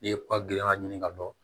N'i ye ba gilanna ɲini ka dɔn